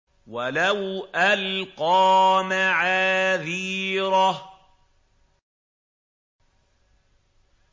وَلَوْ أَلْقَىٰ مَعَاذِيرَهُ